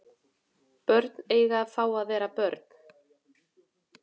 Börn eiga að fá að vera börn